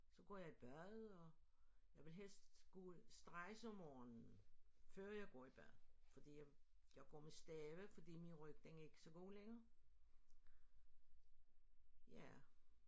Så går jeg i bad og jeg vil helst straks om morgenen før jeg går i bad fordi jeg går med stave fordi min ryg den er ikke så god længere ja